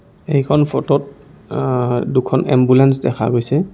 এইখন ফোট ত আ আ দুখন এম্বুলেন্স দেখা গৈছে.